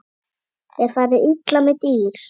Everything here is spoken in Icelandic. Er farið illa með dýr?